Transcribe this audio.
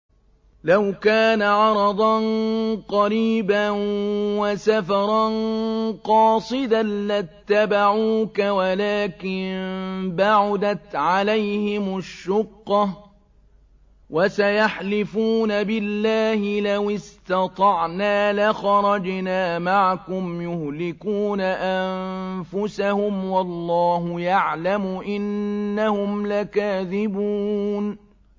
لَوْ كَانَ عَرَضًا قَرِيبًا وَسَفَرًا قَاصِدًا لَّاتَّبَعُوكَ وَلَٰكِن بَعُدَتْ عَلَيْهِمُ الشُّقَّةُ ۚ وَسَيَحْلِفُونَ بِاللَّهِ لَوِ اسْتَطَعْنَا لَخَرَجْنَا مَعَكُمْ يُهْلِكُونَ أَنفُسَهُمْ وَاللَّهُ يَعْلَمُ إِنَّهُمْ لَكَاذِبُونَ